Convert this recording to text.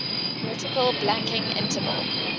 vertical blanking interval